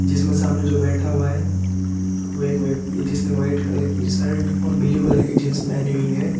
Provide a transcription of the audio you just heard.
जिसमें सामने जो बैठा हुआ है वह एक व्यक्ति है जिसने व्हाइट कलर की शर्ट और ब्लू कलर की जींस पहनी हुई है।